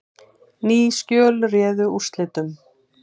Ný skjöl réðu úrslitum